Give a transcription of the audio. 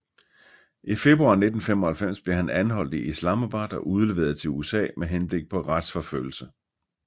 I februar 1995 blev han anholdt i Islamabad og udleveret til USA med henblik på retsforfølgelse